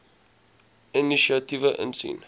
inisiatiewe insien